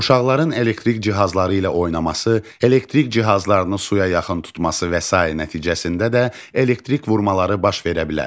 Uşaqların elektrik cihazları ilə oynaması, elektrik cihazlarını suya yaxın tutması və sair nəticəsində də elektrik vurmaları baş verə bilər.